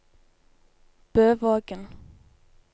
Bøvågen